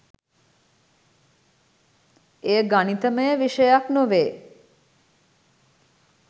එය ගණිතමය විෂයක් නොවේ